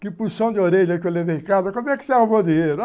Que pulsão de orelha que eu levei em casa, como é que você arrumou dinheiro?